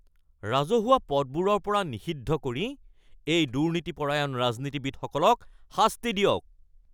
ৰাজহুৱা পদবোৰৰ পৰা নিষিদ্ধ কৰি এই দুৰ্নীতিপৰায়ণ ৰাজনীতিবিদসকলক শাস্তি দিয়ক।